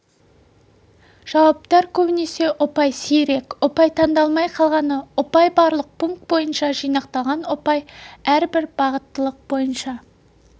жауаптар көбінесе ұпай сирек ұпай таңдалмай қалғаны ұпай барлық пункт бойынша жинақталған ұпай әрбір бағыттылық бойынша